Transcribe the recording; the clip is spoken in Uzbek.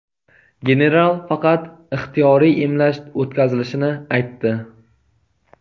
General faqat ixtiyoriy emlash o‘tkazilishini aytdi.